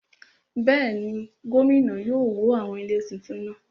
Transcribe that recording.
Bẹ́ẹ̀ni, gómìnà yóò wó àwọn ilé tuntun náà